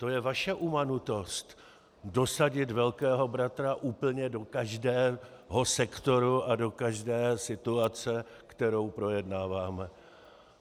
To je vaše umanutost dosadit Velkého bratra úplně do každého sektoru a do každé situace, kterou projednáváme.